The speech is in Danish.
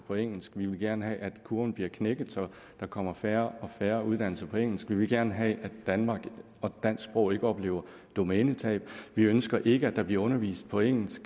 på engelsk vi vil gerne have at kurven bliver knækket så der kommer færre og færre uddannelser på engelsk vi vil gerne have at danmark og dansk sprog ikke oplever domænetab vi ønsker ikke at der bliver undervist på engelsk